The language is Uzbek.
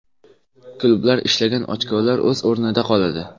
Klublar ishlagan ochkolar o‘z o‘rnida qoladi.